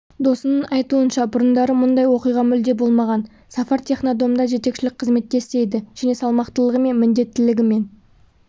досының айтуынша бұрындары мұндай оқиға мүлде болмаған сафар технодомда жетекшілік қызметте істейді және салмақтылығы мен міндеттілігімен